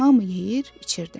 Hamı yeyir, içirdi.